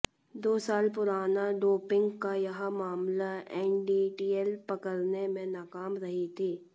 दो साल पुराना डोपिंग का यह मामला एनडीटीएल पकड़ने में नाकाम रही थी